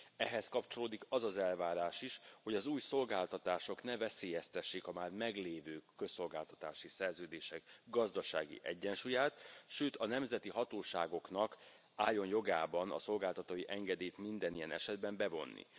Ehhez kapcsolódik az az elvárás is, hogy az új szolgáltatások ne veszélyeztessék a már meglévő közszolgáltatási szerződések gazdasági egyensúlyát, sőt a nemzeti hatóságoknak álljon jogában a szolgáltatói engedélyt minden ilyen esetben bevonni.